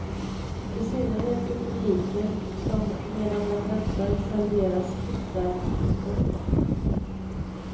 I synnerhet för publiken, som medan den väntar serveras uppvärmd skåpmat.